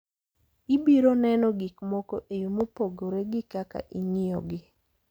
Ibiro neno gik moko e yo mopogore gi kaka ing'iyogi.